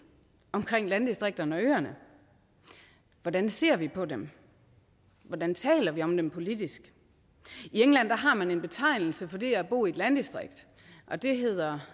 omkring landdistrikterne og øerne hvordan ser vi på dem hvordan taler vi om dem politisk i england har man en betegnelse for det at bo i et landdistrikt og det hedder